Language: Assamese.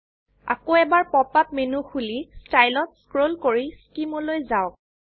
আকৌ এবাৰ পপ আপ মেনু খুলি ষ্টাইল ত স্ক্ৰোল কৰি স্কিম লৈ যাওক